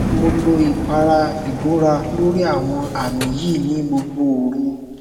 mo lo ipara ibora lori awọn ami yi ni gbogbo oru